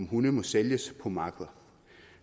hunde må sælges på markeder